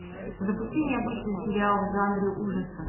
запусти необычный сериал в жанре ужасов